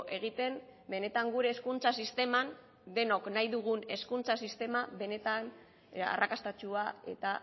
egiten benetan gure hezkuntza sisteman denok nahi dugun hezkuntza sistema benetan arrakastatsua eta